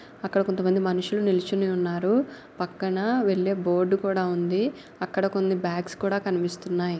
అక్కడ కొంత మంది మనుషులు నిలుచుని ఉన్నారు. పక్కన వెళ్ళే బోర్డు కూడా ఉంది. అక్కడ కొన్ని బాగ్స్ కూడా కనిపిస్తున్నాయ్.